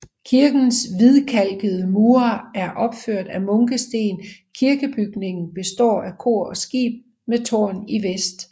Kirkens hvidkalkede mure er opført af munkesten Kirkebygningen består af kor og skib med tårn i vest